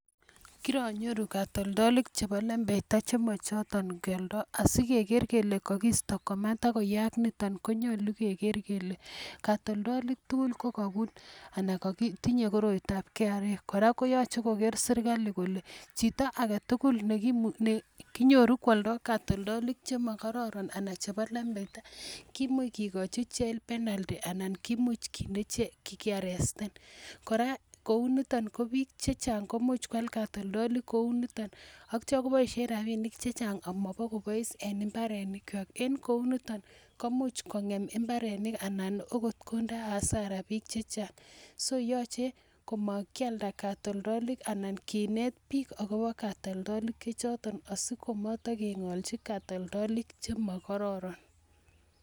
Kironyoru katoltolik chebo lembeita che mochoton kioldo. Asi keger kele kogisto komatagoyaak nito, ko nyolu kegeer kele katoltolik tugul kogobun anan tinye koroitab KRA. Kora koyoche kogeer sirikali kole chito age tugul ne kinyoru koolndo katoltolik chemo kororon anan chebo lembeita kimuche kigochi ichek penalty anan kimuch kinde jela anan kearresten. Kora kou niton ko bik che chang ko much koal katoltolik kou niton ak kityo koboishen rabinink che chang ak mabokobois en imbarenikwak, en kou niton komuch kongem mbarenik anan agot konde hasara bik che chang. So yoche komakialda katoltolik anan kinet bik agobo katoltolik che choton asi komotokeng'olchi katoltolik chemo kororon.